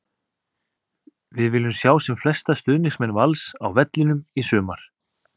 Við viljum sjá sem flesta stuðningsmenn Vals á vellinum í sumar!